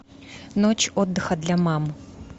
ночь отдыха для мам